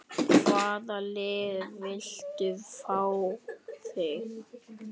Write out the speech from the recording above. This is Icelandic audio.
Hvaða lið vildu fá þig?